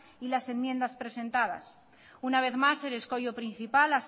y las enmiendas presentadas una vez más el escollo principal